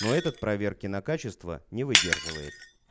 но этот проверки на качество не выдерживает